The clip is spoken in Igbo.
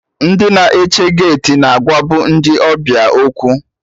Ndị na-eche geeti na agwa bụ ndị ọbịa okwu